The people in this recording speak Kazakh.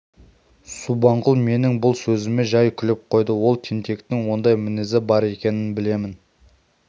субанқұл менің бұл сөзіме жай күліп қойды ол тентектің ондай мінезі бар екенін білемін